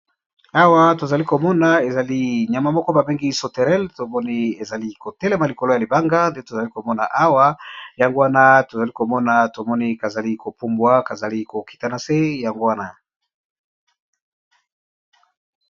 Awa tozali komona ezali nyama moko ba bengi sauterelle, tomoni ezali ko telema likolo ya libanga nde tozali komona awa yango wana tozali komona tomoni ka zali ko pumbwa kazali kokita na se yango wana.